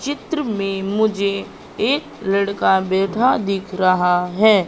चित्र में मुझे एक लड़का बेठा दिख रहा है।